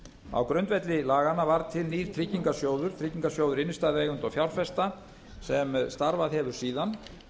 á grundvelli laganna var til nýr tryggingarsjóður tryggingarsjóður innstæðueigenda og fjárfesta sem starfað hefur síðan